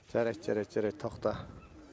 жарайт жарайт жарайт тоқта